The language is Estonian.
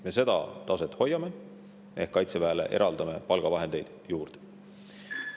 Me seda taset hoiame ehk eraldame Kaitseväele palgavahendeid juurde.